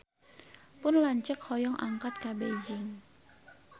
Pun lanceuk hoyong angkat ka Beijing